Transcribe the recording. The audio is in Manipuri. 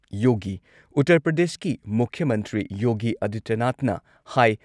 ꯌꯣꯒꯤ ꯎꯠꯇꯔ ꯄ꯭ꯔꯗꯦꯁꯀꯤ ꯃꯨꯈ꯭ꯌ ꯃꯟꯇ꯭ꯔꯤ ꯌꯣꯒꯤ ꯑꯗꯤꯇ꯭ꯌꯅꯥꯊꯅ ꯍꯥꯢ